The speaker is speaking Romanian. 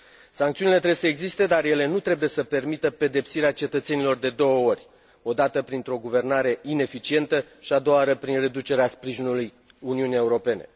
Sancțiunile trebuie să existe, dar ele nu trebuie să permită pedepsirea cetățenilor de două ori o dată printr o guvernare ineficientă și a doua oară prin reducerea sprijinului Uniunii Europene.